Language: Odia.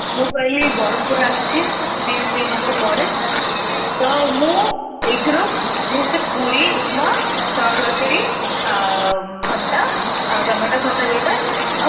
ମୁଁ କହିଲି ବ୍ରହ୍ମପୁର ଆସିଛି ଦୁଇ ମାସ ପରେ ତ ମୁଁ ଏଇ ଥିରୁ ମୋତେ ପୁରୀ ଉପମା ଚଣା ତରକାରୀ ଆଉ ଖଟା tomato ଖଟା ଯୋଉ ଟା